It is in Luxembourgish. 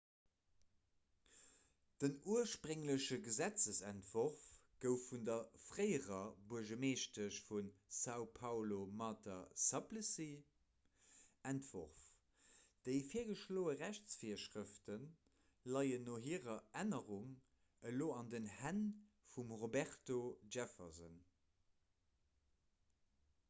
den urspréngleche gesetzentworf gouf vun der fréierer buergermeeschtesch vu são paulo marta suplicy entworf. déi virgeschloe rechtsvirschrëfte leien no hirer ännerung elo an den hänn vum roberto jefferson